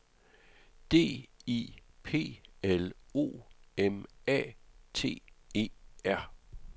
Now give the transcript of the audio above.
D I P L O M A T E R